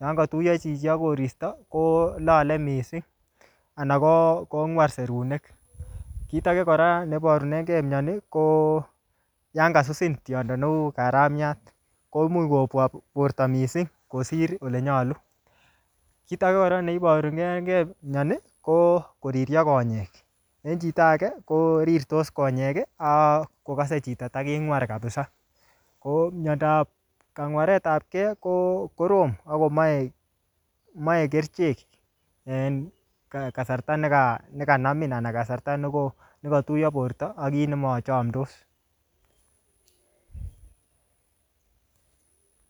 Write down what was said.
Yon kotuyo chichi ak koristo, ko lale missing, anan ko-kongwar serunek. Kit age kora, neborunenkey mioni, ko yankasusin tindo neuu karamiat. Ko imuch kobwa borto missing kosir ole nyolu. Kit age kora neiborurengey mioni, ko koririo konyek. En chito age, ko rirtos konyek, ak kokase chito taking'war kapsaa. Ko miondob kangwaretapke, ko korom akomache-mache kerichek en kasarta neka-nekanamin anan kasarta ne ko-nekatuyo borto ak kiy nemachamdos